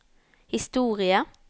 historie